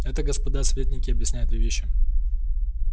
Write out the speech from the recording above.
это господа советники объясняет две вещи